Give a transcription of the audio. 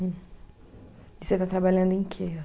E você está trabalhando em quê?